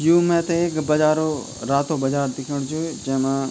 यु मैथे एक बाजारों रातों बाजार दिख्यणु च जैमा।